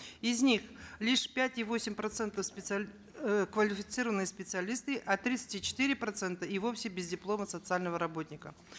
из них лишь пять и восемь процентов э квалифицированные специалисты а тридцать и четыре процента и вовсе без диплома социального работника